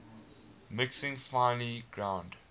mixing finely ground